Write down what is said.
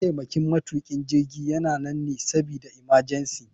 Mataimakin matukin jirgi yana nan ne sabida imajensi.